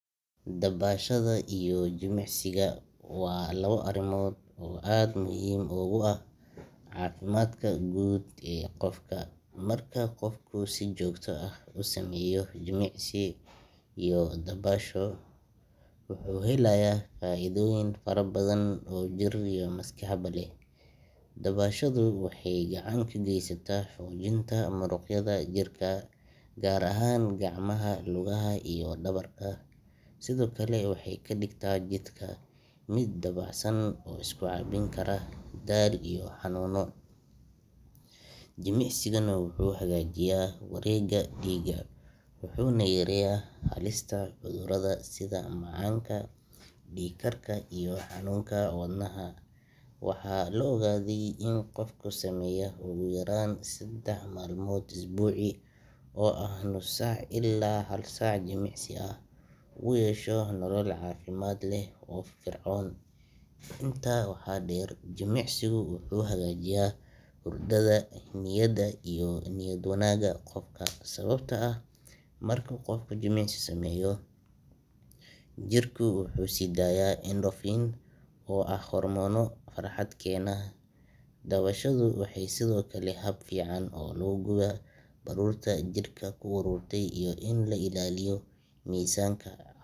Dabashada iyo jimicsiga waa laba arrimood oo aad muhiim ugu ah caafimaadka guud ee qofka. Marka qofku si joogto ah u sameeyo jimicsi iyo dabasho, wuxuu helayaa faa’iidooyin fara badan oo jir iyo maskaxba leh. Dabashadu waxay gacan ka geysataa xoojinta muruqyada jirka, gaar ahaan gacmaha, lugaha iyo dhabarka, sidoo kale waxay ka dhigtaa jirka mid dabacsan oo iska caabin kara daal iyo xanuuno. Jimicsiguna wuxuu hagaajiyaa wareegga dhiigga, wuxuuna yareeyaa halista cudurrada sida macaanka, dhiigkarka iyo xanuunka wadnaha. Waxaa la ogaaday in qofka sameeya ugu yaraan seddex maalmood usbuucii oo ah nus saac ilaa hal saac jimicsi ah, uu yeesho nolol caafimaad leh oo firfircoon. Intaa waxaa dheer, jimicsigu wuxuu hagaajiyaa hurdada, niyadda iyo niyad wanaagga qofka, sababtoo ah marka qofku jimicsi sameeyo, jirku wuxuu sii daayaa endorphins oo ah hormoono farxad keena. Dabashadu sidoo kale waa hab fiican oo lagu gubo baruurta jirka ku ururtay iyo in la ilaaliyo miisaanka